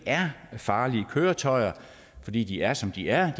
er farlige køretøjer fordi de er som de er